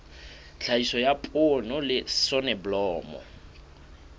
tlhahiso ya poone le soneblomo